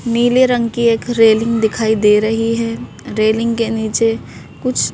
नीले रंग की एक रेलिंग दिखाई दे रही है रेलिंग के नीचे कुछ--